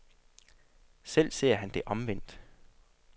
Selv ser han det omvendt.